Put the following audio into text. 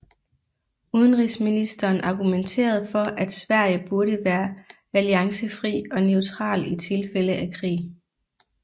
Udenrigsminsteren argumenterede for at Sverige burde være alliancefri og neutral i tilfælde af krig